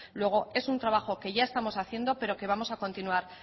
luego es un trabajo que ya estamos haciendo pero que vamos a continuar